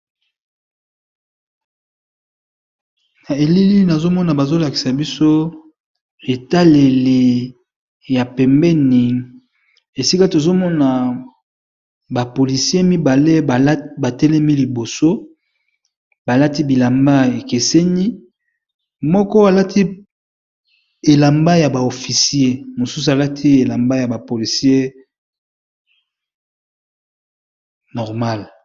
Na elili nazomona bazo lakisa biso etaleli ya pembeni esika tozomona ba polisie mibale ba telemi liboso, balati bilamba ekeseni, moko alati elamba ya ba oficier mosusu alati elamba ya ba policier normale.